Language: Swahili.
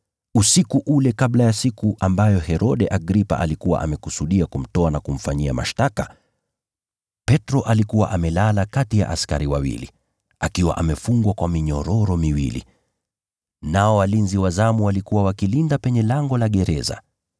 Usiku ule kabla ya siku ambayo Herode Agripa alikuwa amekusudia kumtoa na kumfanyia mashtaka, Petro alikuwa amelala kati ya askari wawili, akiwa amefungwa kwa minyororo miwili. Nao walinzi wa zamu walikuwa wakilinda penye lango la gereza.